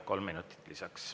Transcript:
Kolm minutit lisaks.